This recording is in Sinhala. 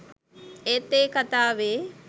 ඒත් ඒ කතාවේ